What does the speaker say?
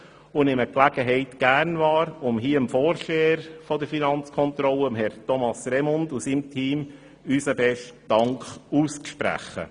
Ich nehme diese Gelegenheit gerne wahr, um hier dem Vorsteher der Finanzkontrolle, Herrn Thomas Remund, und seinem Team unseren besten Dank auszusprechen.